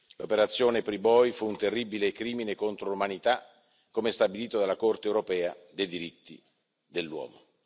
L'operazione Priboi fu un terribile crimine contro l'umanità, come stabilito dalla Corte europea dei diritti dell'uomo.